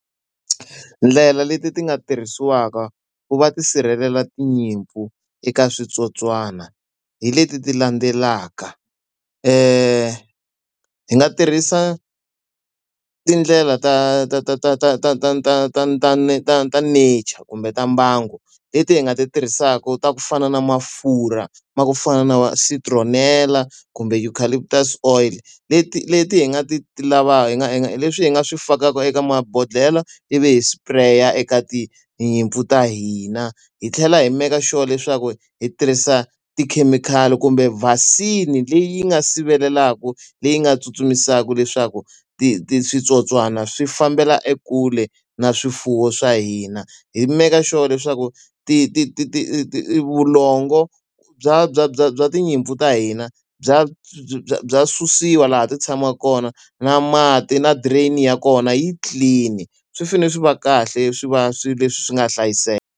Ndlela leti ti nga tirhisiwaka ku va ti sirhelela tinyimpfu eka switsotswana, hi leti landzelaka. Hi nga tirhisa tindlela ta ta ta ta ta ta ta ta ta ta ta ta nature kumbe ta mbango. Leti hi nga ti tirhisaka ta ku fana na mafurha, ma ku fana na va citronella kumbe eucalyptus oil. Leti leti hi nga ti hi nga hi nga hi leswi hi nga swi fakaka eka mabodhlele ivi hi spare eka tinyimpfu ta hina, hi tlhela hi make sure leswaku hi tirhisa tikhemikhali kumbe vaccine leyi nga sivelaku, leyi nga tsutsumisaka leswaku ti ti switsotswana swi fambela ekule na swifuwo swa hina. Ki maker sure leswaku ti ti ti ti ti vulongo bya bya bya bya tinyimpfu ta hina bya bya bya susiwa laha ti tshamaka kona na mati na drain-i ya kona yi clean-i. Swi fanele swi va kahle swi va swilo leswi swi nga hlayiseka.